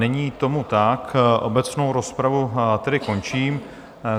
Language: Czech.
Není tomu tak, obecnou rozpravu tedy končím.